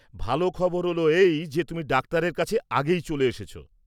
ভালো খবর হল এই যে তুমি ডাক্তারের কাছে আগেই চলে এসেছ।